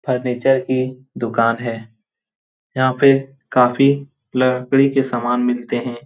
Furniture की दुकान है यहां पे काफी लकड़ी के सामान मिलते हैं।